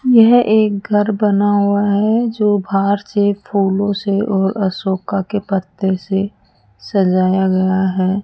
यह एक घर बना हुआ है जो बाहर से फूलों से और अशोका के पत्ते से सजाया गया है।